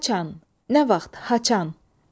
Qaçan, nə vaxt, haçan.